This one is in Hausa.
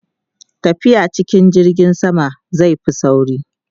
tafiya cikin jirgin sama zai Fi sauri